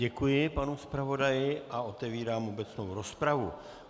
Děkuji panu zpravodaji a otevírám obecnou rozpravu.